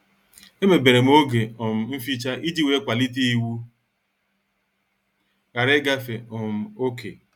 Emeberem oge um mficha iji wee kwalite iwu ghara ịgafe um oké.